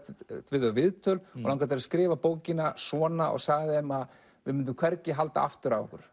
við þau viðtöl og langaði að skrifa bókina svona og sagði þeim að við myndum hvergi halda aftur af okkur